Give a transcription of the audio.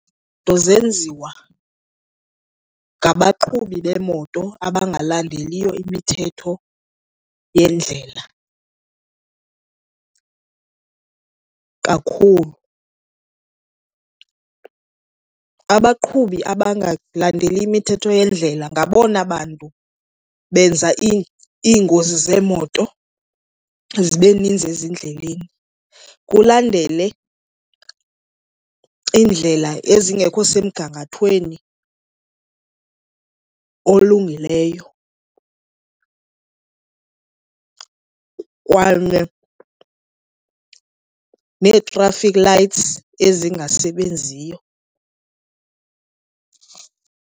Iinto zenziwa ngabaqhubi beemoto abangalandeliyo imithetho yendlela kakhulu. Abaqhubi abangalandeli imithetho yendlela ngabona bantu benza iingozi zeemoto zibe ninzi ezindleleni. Kulandele iindlela ezingekho semgangathweni olungileyo kanye nee-traffic lights ezingasebenziyo.